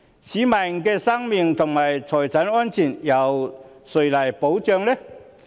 市民的生命和財產安全由誰來保障？